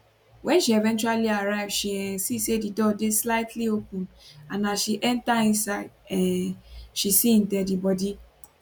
wen she eventually arrive she um see say di door dey slightly open and as she enta inside um she see im deadibody